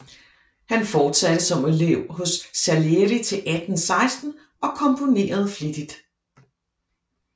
Han fortsatte som elev hos Salieri til 1816 og komponerede flittigt